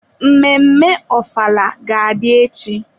Mmemme ofala ga-adị echi.